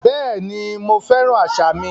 Bẹ́ẹ̀ni, mo fẹ́ràn àṣà mi